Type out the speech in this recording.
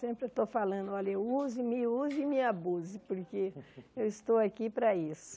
Sempre eu estou falando, olha, use-me, use-me e abuse, porque eu estou aqui para isso.